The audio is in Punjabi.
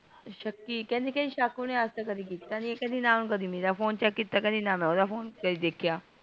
ਸ਼ੱਕੀ ਕਿਹੰਦੀ ਊਣੇ ਸ਼ੱਕ ਓਹਨੇ ਅੱਜ ਤਕ ਕਦੀ ਕੀਤਾ ਨਹੀਂ ਐ ਕਿਹੰਦੀ ਨ ਊਣੇ ਮੇਰਾ phone ਨਾ ਮੈਂ ਓਹਦਾ ਦੇਖਿਆ